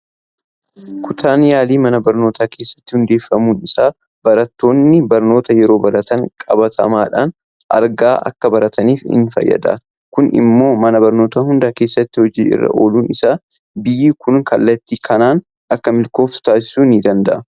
Kutaan yaalii mana barnootaa keessatti hundeeffamuun isaa barattoonni barnoota yeroo baratan qabatamaadhaan argaa akka barataniif isaan fayyada. Kun immoo mana barnootaa hunda keessatti hojii irra ooluun isaa biyyi kun kallattii kanaan akka milkooftu taasisuu danda'a.